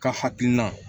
Ka hakilina